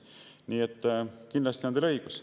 Nii et kindlasti on teil õigus.